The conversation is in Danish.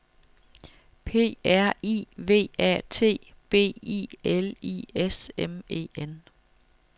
P R I V A T B I L I S M E N